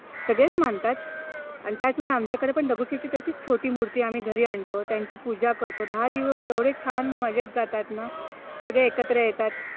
सगळेच मानतात आणि त्याचवेळी आमच्याकडे पण दगडूशेठ ची छोटी मूर्ती आम्ही घरी आणून त्यांची पूजा करतो दहा दिवस एवढे छान मजेत जातात ना. सगळे एकत्र येतात.